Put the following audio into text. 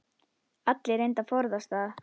Allir reyndu að forðast það.